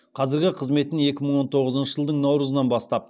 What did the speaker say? қазіргі қызметін екі мың он тоғызыншы жылдың наурызынан бастап